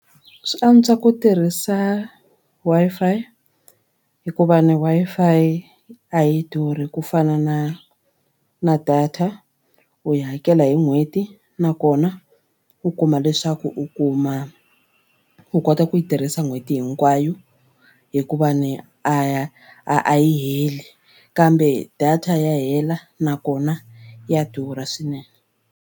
Swi antswa ku tirhisa Wi-Fi hikuva ni Wi-Fi a yi durhi ku fana na na data u yi hakela hi n'hweti nakona u kuma leswaku u kuma u kota ku yi tirhisa n'hweti hinkwayo hikuva ni a ya a yi heli kambe data ya hela nakona ya durha swinene.